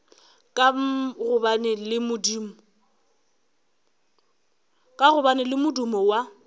ka gobane le modumo wa